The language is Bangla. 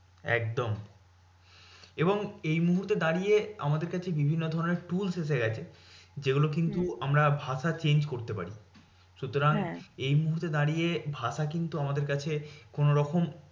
একদম এবং এই মুহূর্তে দাঁড়িয়ে আমাদের কাছে বিভিন্ন ধরণের tools এসে গেছে। যেগুলো কিন্তু আমরা ভাষা change করতে পারি। সুতরাং এই মুহূর্তে দাঁড়িয়ে ভাষা কিন্তু আমাদের কাছে কোনোরকম